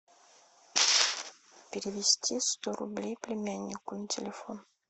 перевести сто рублей племяннику на телефон